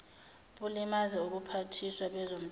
bulimaze ubuphathiswa bezomthetho